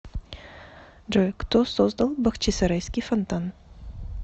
джой кто создал бахчисарайский фонтан